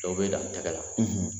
Dɔw bɛ dan tɛgɛ la